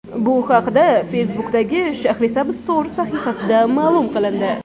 Bu haqda Facebook’dagi Shahrisabz Tour sahifasida ma’lum qilindi .